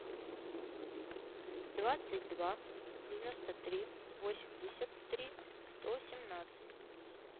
двадцать два девяносто три восемьдесят три сто семнадцать